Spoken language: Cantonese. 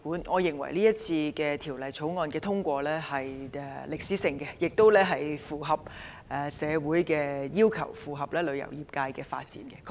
我認為《條例草案》如獲通過，將取得歷史性進展，亦符合社會要求，以及配合旅遊業界的發展。